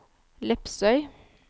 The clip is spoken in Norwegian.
Lepsøy